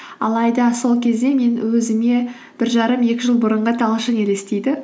алайда сол кезде мен өзіме бір жарым екі жыл бұрынғы талшын елестейді